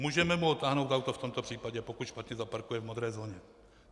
Můžeme mu odtáhnout auto v tomto případě, pokud špatně zaparkuje v modré zóně.